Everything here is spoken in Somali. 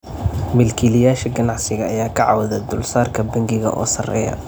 Milkiilayaasha ganacsiga ayaa ka cawday dulsaarka bangiga oo sarreeya.